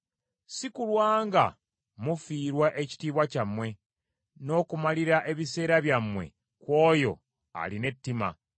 si kulwa nga mufiirwa ekitiibwa kyammwe, n’okumalira ebiseera byammwe ku oyo alina ettima,